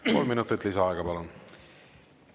Kolm minutit lisaaega, palun!